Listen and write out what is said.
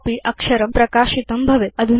तथापि अक्षरं प्रकाशितं भवेत्